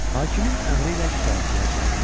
Hakimin əmri ilə şikayətçilər çağırıldı.